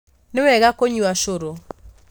Nĩ wega kunyua cũrũ